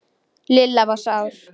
Lilla var sár.